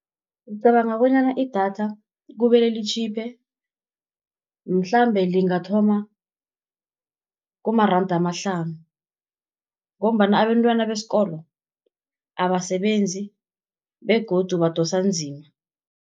Ngicabanga bonyana idatha kumele litjhipe, mhlambe lingathoma kumaranda amahlanu, ngombana abentwana besikolo abasebenzi, begodu badosa nzima.